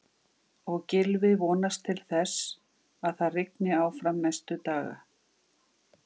Og Gylfi vonast til þess að það rigni áfram næstu daga?